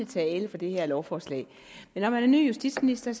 tale for det her lovforslag men når man er ny justitsminister